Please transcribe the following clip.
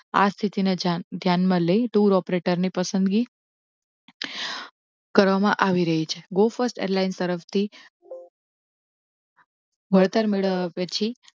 આ સ્થિતિ ને ધ્યાન માં લઈ tour operator ની પસંદગી કરવામાં આવી રહી છે. go first airline તરફથી વળતર મેળવ્યા પછી